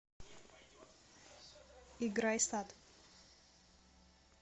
играй сад